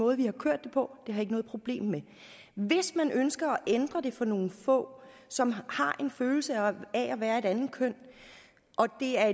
måde vi har kørt det på det har jeg ikke noget problem med hvis man ønsker at ændre det for nogle få som har en følelse af at være et andet køn og det er